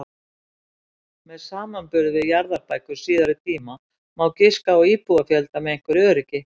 Með samanburði við jarðabækur síðari tíma má giska á íbúafjölda með einhverju öryggi.